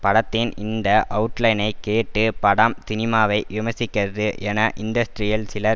படத்தின் இந்த அவுட்லைனை கேட்டு படம் சினிமாவை விமர்சிக்கிறது என இன்டஸ்ட்ரியில் சிலர்